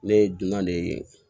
Ne ye dunan de ye